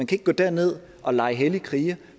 kan gå derned og lege hellig kriger